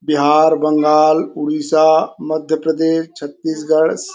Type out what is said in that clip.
Bihar Bengal Odisha Madhya Pradesh Chhattisgarh --